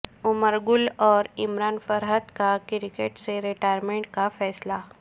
عمر گل اور عمران فرحت کا کرکٹ سے ریٹائرمنٹ کا فیصلہ